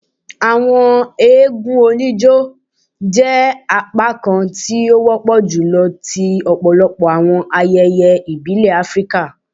Awọn eégún onijó jẹ apakan ti o wọpọ julọ ti ọpọlọpọ awọn ayẹyẹ ibile Afirika.